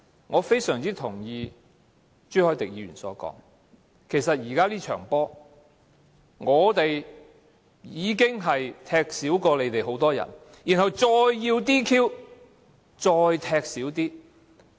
我非常同意朱凱廸議員所說，其實現時這場球賽，我們已經比你們少踢很多人，然後還要 "DQ"， 再踢走一些人。